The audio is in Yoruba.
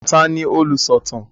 Ta ni olùsọ̀tàn?